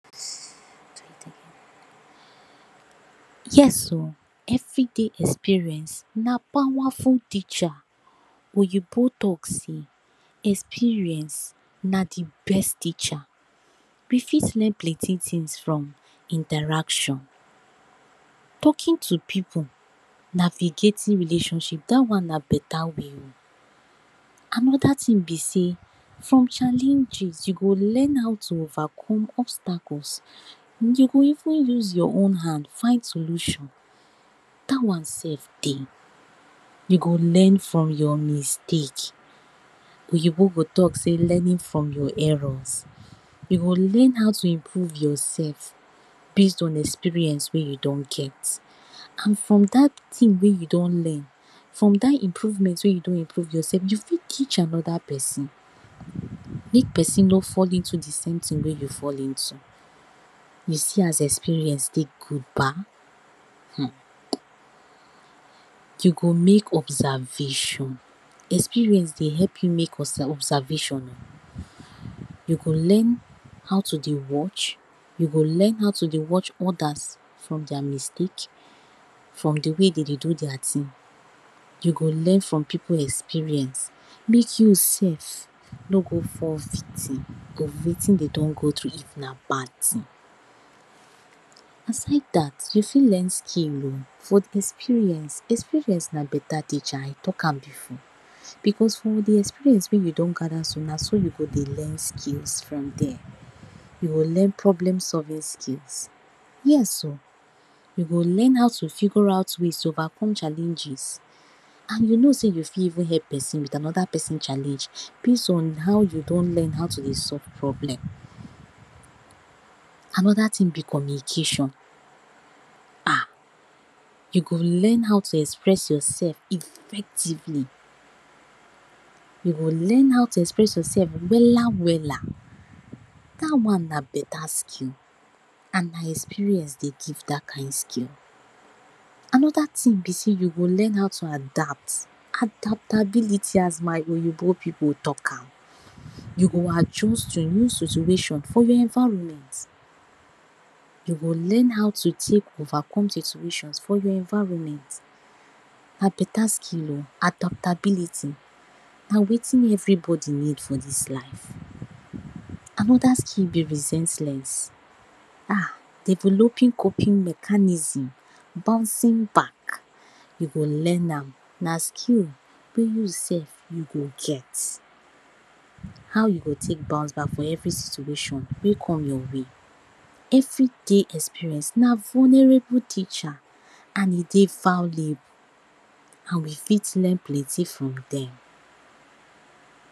Yes oh, everyday experience na powerful teacher. Oyibo talk say experience na de best teacher. We fit learn plenty things from interaction talking to pipu na be getting relationship dat na better way, another thing be sey for challenges you go learn how to overcome obstacles you go even use your own hand find solution dat one self dey. You go learn from your mistake, oyibo go talk say learning from your errors you go learn how to improve your self base on experience wey you don get and from dat thing wey you don learn from dat improvement wey don improve your self you fit teach another person make person nor fall into de same thing wey you fall into you see as experience take good ba, um you go make observation, experience dey help you make observe, observation, you go learn how to dey watch you go learn way to dey watch others from their mistake from de way dem dey do their thing you learn from pipu experience make you self nor go fall victim of wetin dem don go through if na bad thing. Expect dat you fit learn skill oh for de experience, experience na better teacher I talk am before because from de experience wey you don gather so na so you go dey learn skills from there. You go learn problem solving skills, yes oh you go learn you go learn how to figure out ways to overcome challenges and you know say you fit help person with another person challenge depends on how you don learn how to dey solve problem. Another thing be communication um you go learn how to express your self effectively you learn how to express your self wella wella dat one na better skill and experience dey give dat kind skill another thing be sey you learn how to adapt, adaptability as my oyibo pipu talk am you go adjust to any situation for your environment you learn how to dey take overcome situation for your environment na better skill oh adaptability na wetin everybody need for dis life another skill be resilience um developing coping mechanism bouncing back you go learn am na skill wey you self you go get. How you go take bounce back for every situation wey come your way. Everyday experience na vulnerable teacher and e dey value we fit learn plenty from dem